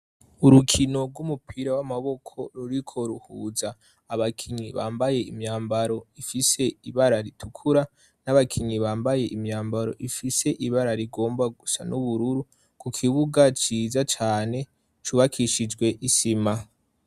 Urukino rw'umupira w'amaboko ruriko ruhuza abakinyi bambaye imyambaro ifise ibara ritukura, n'abakinyi bambaye imyambaro ifise ibara rigomba gusa n'ubururu, ku kibuga ciza cane cubakishijwe isima.